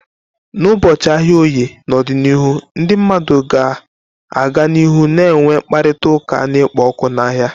N'ụbọchị ahịa Oye n'ọdịnihu, ndị mmadụ ga-aga n'ihu na-enwe mkparịta ụka na-ekpo ọkụ n'ahịa.